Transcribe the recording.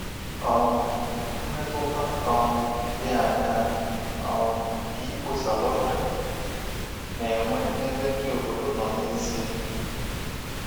um Mmetụta um dị aṅaa um ka ịkpọsa lọtrị na-enwe n’ebe ndị obodo nọ n’ezie?